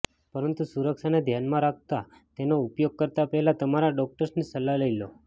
પરંતુ સુરક્ષાને ધ્યાનમાં રાખતા તેનો ઉપયોગ કરતા પહેલા તમારા ર્ડોક્ટરની સલાહ લઇ લો